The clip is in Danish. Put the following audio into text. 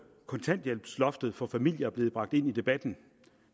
kontanthjælpsloftet for familier er blevet bragt ind i debatten